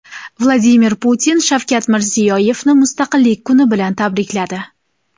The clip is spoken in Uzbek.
Vladimir Putin Shavkat Mirziyoyevni Mustaqillik kuni bilan tabrikladi.